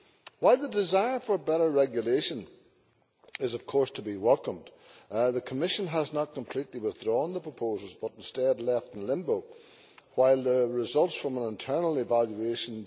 While the desire for better regulation is of course to be welcomed, the Commission has not completely withdrawn the proposals but instead left them in limbo pending the results of an internal evaluation.